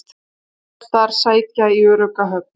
Fjárfestar sækja í örugga höfn